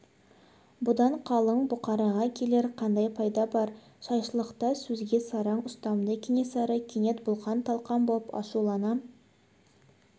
бұдан қалың бұқараға келер қандай пайда бар жайшылықта сөзге сараң ұстамды кенесары кенет бұлқан-талқан боп ашулана